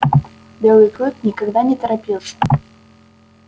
белый клык никогда не торопился